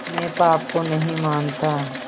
मैं पाप को नहीं मानता